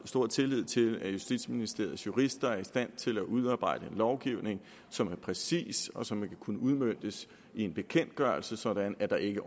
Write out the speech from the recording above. stor tillid til at justitsministeriets jurister er i stand til at udarbejde en lovgivning som er præcis og som vil kunne udmøntes i en bekendtgørelse sådan at der ikke